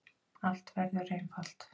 Allt verður einfalt.